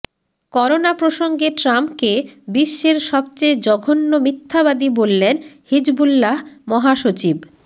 corona প্রসঙ্গে ট্রাম্পকে বিশ্বের সবচেয়ে জঘন্য মিথ্যাবাদী বললেন হিজবুল্লাহ মহাসচিব